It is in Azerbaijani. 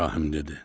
İbrahim dedi.